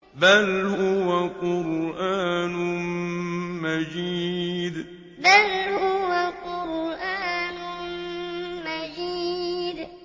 بَلْ هُوَ قُرْآنٌ مَّجِيدٌ بَلْ هُوَ قُرْآنٌ مَّجِيدٌ